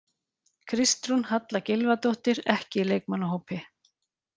Kristrún Halla Gylfadóttir, ekki í leikmannahópi